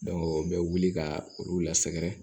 u bɛ wuli ka olu lasɛgɛrɛ